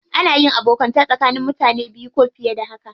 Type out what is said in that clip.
Ana yin abokanta tsakanin mutane biyu ko fiye da haka.